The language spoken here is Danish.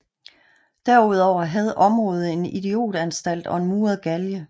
Derudover havde området en idiotanstalt og en muret galge